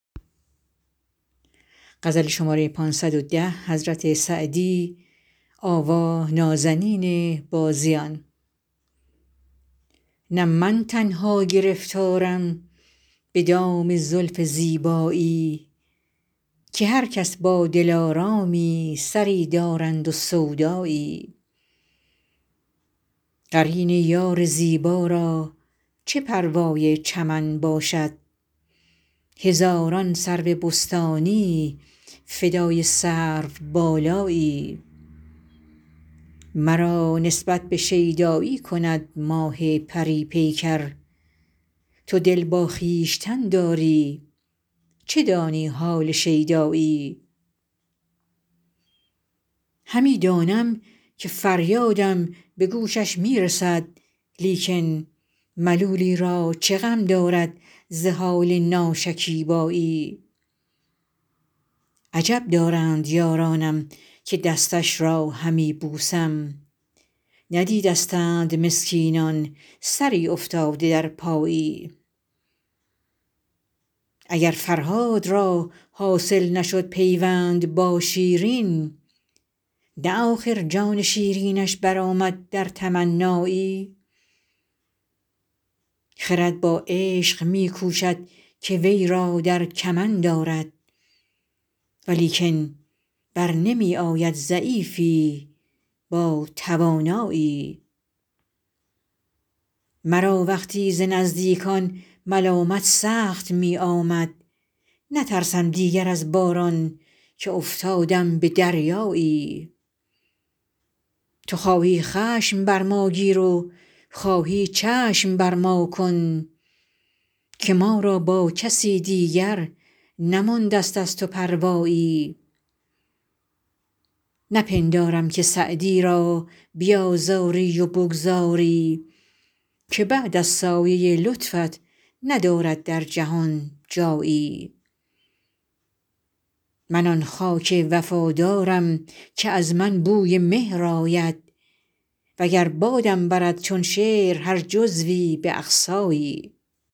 نه من تنها گرفتارم به دام زلف زیبایی که هر کس با دلآرامی سری دارند و سودایی قرین یار زیبا را چه پروای چمن باشد هزاران سرو بستانی فدای سروبالایی مرا نسبت به شیدایی کند ماه پری پیکر تو دل با خویشتن داری چه دانی حال شیدایی همی دانم که فریادم به گوشش می رسد لیکن ملولی را چه غم دارد ز حال ناشکیبایی عجب دارند یارانم که دستش را همی بوسم ندیدستند مسکینان سری افتاده در پایی اگر فرهاد را حاصل نشد پیوند با شیرین نه آخر جان شیرینش برآمد در تمنایی خرد با عشق می کوشد که وی را در کمند آرد ولیکن بر نمی آید ضعیفی با توانایی مرا وقتی ز نزدیکان ملامت سخت می آمد نترسم دیگر از باران که افتادم به دریایی تو خواهی خشم بر ما گیر و خواهی چشم بر ما کن که ما را با کسی دیگر نمانده ست از تو پروایی نپندارم که سعدی را بیآزاری و بگذاری که بعد از سایه لطفت ندارد در جهان جایی من آن خاک وفادارم که از من بوی مهر آید و گر بادم برد چون شعر هر جزوی به اقصایی